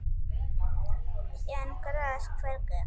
en gras hvergi